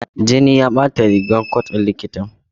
Jini ya bata rigar cot ɗin likitan.